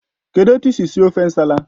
Kedụ etu isi sie ofe nsala?